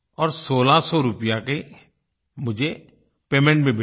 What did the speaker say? और 1600 रुपये का मुझे पेमेंट भी मिल गया